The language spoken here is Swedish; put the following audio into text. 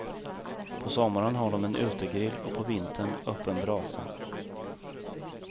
På sommaren har de en utegrill och på vintern öppen brasa.